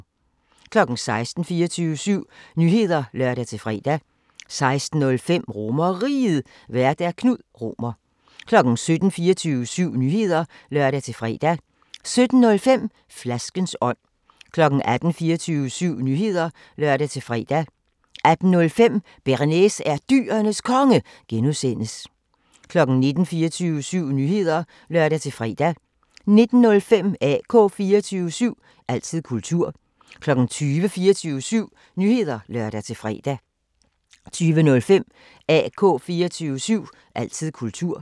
16:00: 24syv Nyheder (lør-fre) 16:05: RomerRiget, Vært: Knud Romer 17:00: 24syv Nyheder (lør-fre) 17:05: Flaskens ånd 18:00: 24syv Nyheder (lør-fre) 18:05: Bearnaise er Dyrenes Konge (G) 19:00: 24syv Nyheder (lør-fre) 19:05: AK 24syv – altid kultur 20:00: 24syv Nyheder (lør-fre) 20:05: AK 24syv – altid kultur